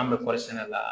An bɛ kɔɔri sɛnɛ la